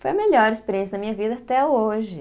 Foi a melhor experiência da minha vida até hoje.